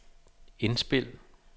indspil